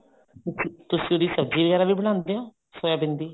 ਅੱਛਾ ਤੁਸੀਂ ਉਹਦੀ ਸਬਜੀ ਵਗੈਰਾ ਵੀ ਬਣਾਉਂਦੇ ਹੋ ਸੋਇਆਬੀਨ ਦੀ